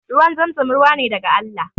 Ruwan zamzam ruwa ne daga Allah